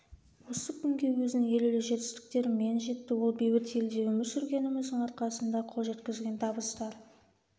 осы күнге өзінің елеулі жетістіктерімен жетті ол бейбіт елде өмір сүргеніміздің арқасында қол жеткізген табыстар